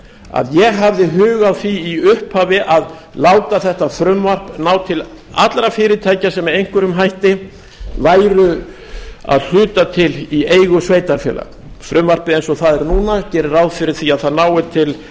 að ég hafði hug á því í upphafi að láta þetta frumvarp ná til allra fyrirtækja sem með einhverjum hætti væru að hluta til í eigu sveitarfélaga frumvarpið eins og það er núna gerir ráð fyrir því að það nái til